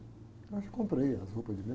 Aí comprei as roupas de